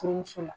Furumuso la